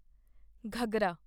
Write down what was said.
ਘਘਰਾ